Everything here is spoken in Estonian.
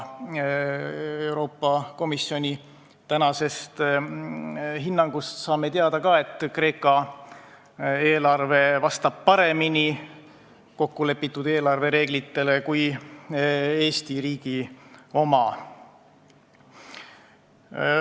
Euroopa Komisjoni tänasest hinnangust saame teada ka, et Kreeka eelarve vastab paremini kokkulepitud eelarvereeglitele kui Eesti riigi oma.